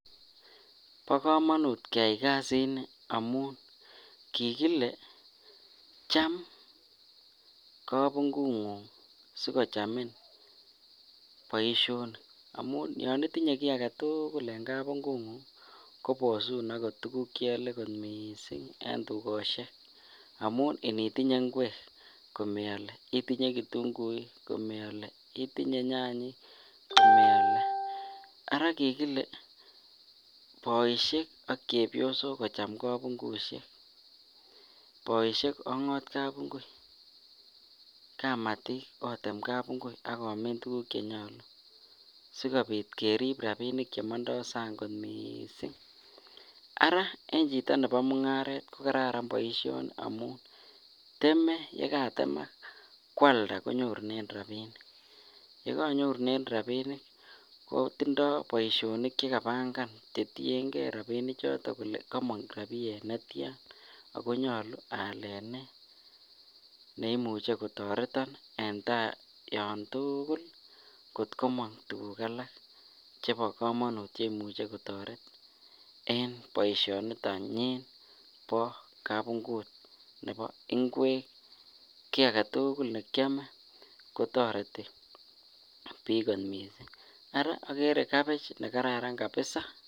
Bokomonut keyai kasini amun kikile chaam kabung'ung'ung sikochamin boishonik amun yoon itinye kii aketukul en kabung'ung'ung kobosun okot tukuk cheole akot mising en tukoshek amun initinye ing'wek komeole, itinye kitung'uik, itinye nyanyik komeole, araa kikile boishek ak chebiosok kocham kabung'ushek, boishek ong'ot kabng'ui, kamatik otem kabung'ui ak omin tukuk chenyolu sikobit kerib rabinik chemondo sang kot mising, araa en chito nebo mung'aret ko kararan kot mising boishoni amun temee yekatemak kwalda konyorunen rabinik, yekonyorunen rabinik kotindo boishonik chekabangan chetieng'e rabini choton kolee komong rabiyet netian ak konyolu alen nee neimuche kotoreton en taa yoon tukul kot komong tukuk alak chebokomonut cheimuche kotoret en boishoniton nyiin bo kabung'ut nebo ing'wek, kii aketukul nekiome kotoreti biik kot mising, araa okere cabbage nekararan kabisaa.